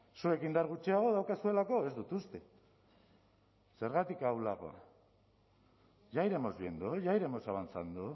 zuek indar gutxiago daukazuelako ez dut uste zergatik ahulagoa ya iremos viendo ya iremos avanzando